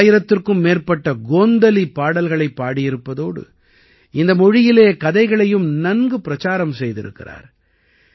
இவர் ஆயிரத்திற்கு மேற்பட்ட கோந்தலி பாடல்களைப் பாடியிருப்பதோடு இந்த மொழியிலே கதைகளையும் நன்கு பிரச்சாரம் செய்திருக்கிறார்